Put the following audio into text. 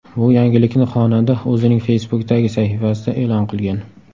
Bu yangilikni xonanda o‘zining Facebook’dagi sahifasida e’lon qilgan .